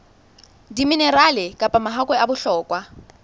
diminerale kapa mahakwe a bohlokwa